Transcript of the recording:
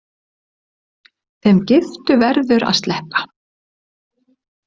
Þeim giftu verður að sleppa.